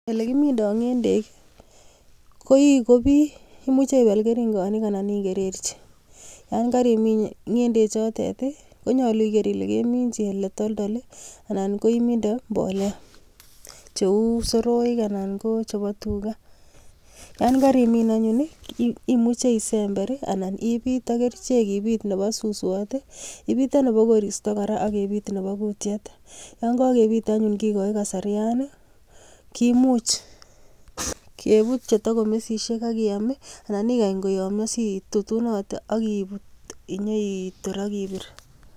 Ole kimindii ng'endek, koikobi, imuche ipal keringonik anan igererchi. Yon karimin ng'endechotok , konyolu iger ile keminchi ole toltol anan koiminde mbolea cheu soroek anan ko chebo tuga. Yon karimin anyun, imuche isember, anan ibit ak kerichek cheu chebo suswat, ibite nebo koristo kora ak ibitnebo kutiet. Yon kakebit anyun kekoochi kasarian kemuch keput komesisiek akeam ana ikany koyomio situtunote akinyeitor akibir.